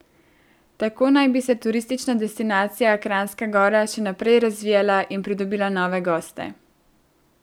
Tako naj bi se turistična destinacija Kranjska Gora še naprej razvijala in pridobila nove goste.